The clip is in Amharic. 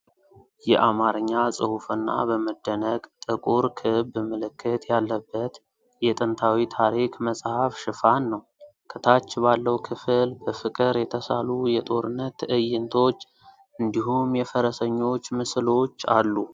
የአማርኛ ጽሑፍና በመደነቅ ጥቁር ክብ ምልክት ያለበት የጥንታዊ ታሪክ መጽሐፍ ሽፋን ነው። ከታች ባለው ክፍል በፍቅር የተሳሉ የጦርነት ትዕይንቶች፣ እንዲሁም የፈረሰኞች ምስሎች አሉ።